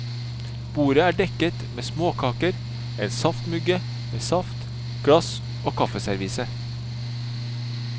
Bordet er dekket med småkaker, en saftmugge med saft, glass og kaffeservise.